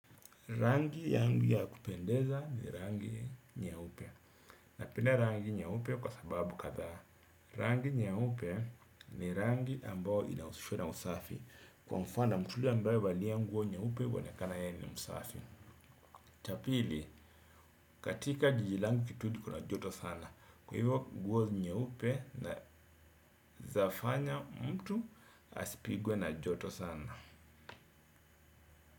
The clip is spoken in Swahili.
Rangi yangu ya kupendeza ni rangi nyeupe. Napenda rangi nyeupe kwa sababu kadha. Rangi nyeupe ni rangi ambao inahusishwa na usafi. Kwa mfano mtuli ambayo huvalia nguo nyeupe huonekana yeye ni msafi. Cha pili, katika jiji langu kitudi kuna joto sana. Kwa hivyo nguo nyeupe inaezafanya mtu asipigwe na joto sana.